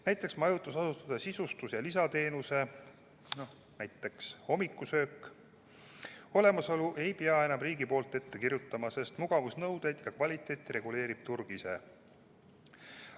Näiteks majutusasutuste sisustust ja lisateenuseid, näiteks hommikusöögi pakkumist ei pea enam riik ette kirjutama, sest mugavusnõudeid ja kvaliteeti reguleerib turg ise.